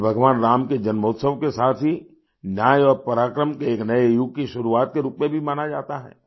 इसे भगवान राम के जन्मोत्सव के साथ ही न्याय और पराक्रम के एक नए युग की शुरुआत के रूप में भी मना जाता है